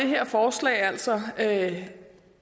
her forslag altså kunne at